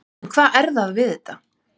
En hvað er það við þetta?